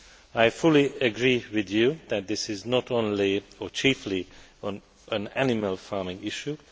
I fully agree with you that this is not only, or chiefly, an animal farming issue.